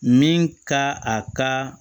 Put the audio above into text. Min ka a ka